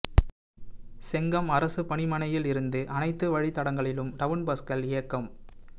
செங்கம் அரசு பணிமனையில் இருந்து அனைத்து வழித்தடங்களிலும் டவுன் பஸ்கள் இயக்கம்